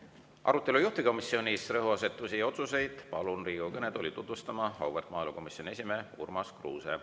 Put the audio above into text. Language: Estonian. Arutelu juhtivkomisjonis, rõhuasetusi ja otsuseid palun Riigikogu kõnetooli tutvustama auväärt maaelukomisjoni esimehe Urmas Kruuse.